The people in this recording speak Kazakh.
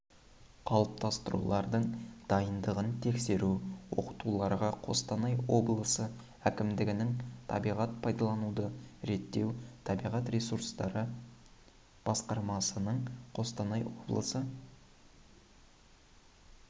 қалыптастырулардың дайындығын тексеру оқытуларға қостанай облысы әкімдігінің табиғат пайдалануды реттеу табиғат ресурстары басқармасының қостанай облысы